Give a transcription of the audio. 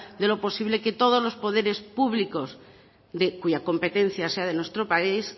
de lo posible que todos los poderes públicos cuya competencia sea de nuestro país